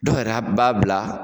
Dɔw yɛrɛ b'a bila